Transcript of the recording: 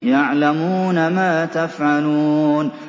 يَعْلَمُونَ مَا تَفْعَلُونَ